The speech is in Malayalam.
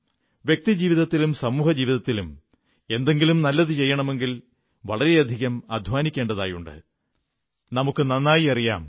വ്യക്തിജീവിതത്തിലും സമൂഹജീവിതത്തിലും എന്തെങ്കിലും നല്ലതു ചെയ്യണമെങ്കിൽ വളരെയധികം അധ്വാനിക്കേണ്ടതുണ്ടെന്ന് നമുക്കു നന്നായി അറിയാം